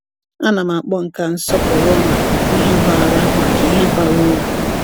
A na m akpọ nke a nsọpụrụ maka ihe bara maka ihe bara uru.